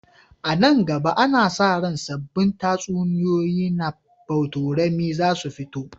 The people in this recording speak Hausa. A nan gaba, ana sa ran sabbin tatsuniyoyi na botorami za su fito.